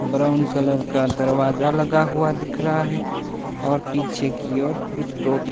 brown colour का दरवाजा लगा हुआ दिख रहा है और पीछे की और कुछ